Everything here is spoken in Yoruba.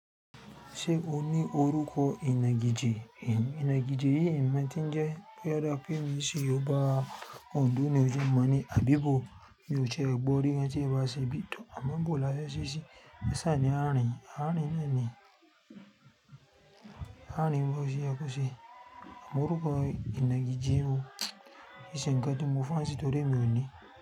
Ṣe o ni oruko inagije? Inagije yi imo ntinje, pe o da pe mi si yoo'ba Ondo ni oje mani abibo, mi o tie gbo ri gan ti e ba se bi, to' a ma bo lafe se si, e sa ni a rin, a rin na ni, a rin bo se ye ko se oruko inagije, ki i se nkan ti mo fansi to de wumi.